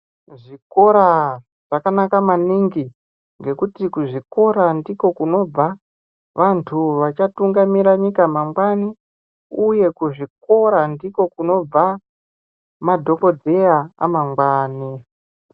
Zvikora zvakanaka maningi ngekuti kuzvikora ndiko kunobva vantu vachatungamira nyika mangwani uye kuzvikora ndiko kunobva madhokodheya amangwani.